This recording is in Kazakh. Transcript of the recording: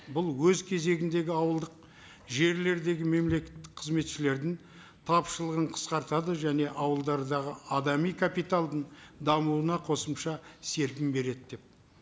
бұл өз кезегіндегі ауылдық жерлердегі мемлекеттік қызметшілердің тапшылығын қысқартады және ауылдардағы адами капиталдың дамуына қосымша серпін береді деп